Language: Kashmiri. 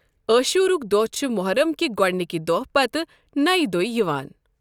عاشورہُک دۄہ چھُ محرم کہِ گۄڈٕنِکہِ دۄہ پتہٕ نَیہِ دُہۍ یِوان۔